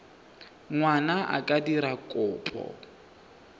ngwana a ka dira kopo